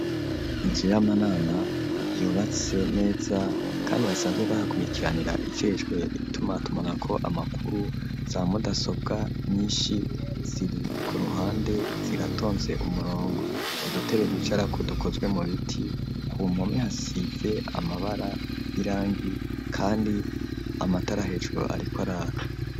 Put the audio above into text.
Inzu y'amanama yubatse neza kandi basanzwe bahakurikiranira iceshwe itumatumanako amakuru za mudasobwa nyinshi ziri ku ruhande ziratonze umurongo udutebe bicarako dukozwe mu biti, ku mpome hasize amabara irangi kandi amatara hejuru ariko araka.